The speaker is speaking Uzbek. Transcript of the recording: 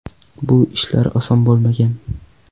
Bu ishlar oson bo‘lmagan.